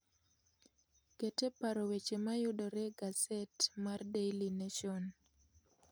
Ket e paro weche ma yudore e gaset mar The Daily Nation